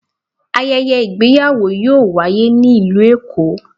Ayẹyẹ ìgbéyàwò yọọ waye ni ilú Èko.